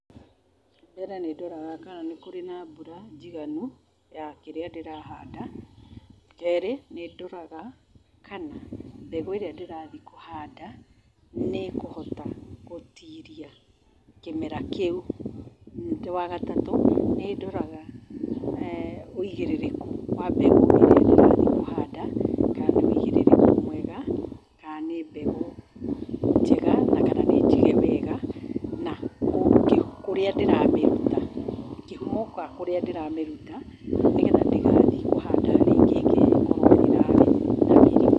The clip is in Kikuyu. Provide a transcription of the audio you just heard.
Mbere nĩ ndoraga kana nĩ kũrĩ na mbura njiganu ,ya kĩrĩa ndĩrahanda. Kerĩ nĩ ndoraga kana mbegũ ĩrĩa ndĩrahanda nĩ ĩkuhota gũtiria kĩmera kĩu. Nĩngĩ wa gatatu, nĩ ndoraga uigĩrĩrĩku wa mbegũ ĩyo ndĩrenda kũhandakana nĩ uigĩrĩrĩku mwega kana nĩ mbegũ njega na kana nĩ njige wega na kũrĩa ndĩramĩruta, kĩhumo, kana kũrĩa ndĩramĩruta nĩgetha ndigathiĩ kũhanda ningĩ ĩngĩ ĩkorwo ĩrarĩ na mĩrimu